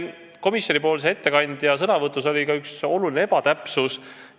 Komisjonipoolse ettekandja sõnavõtus oli ka üks oluline ebatäpsus.